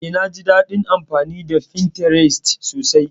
Eh, naji daɗin amfani da Pinterest sosai.